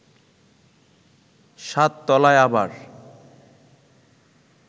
সাত তলায় আবার